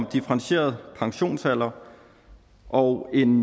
differentieret pensionsalder og en